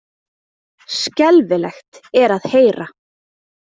Skelfilegt er að heyra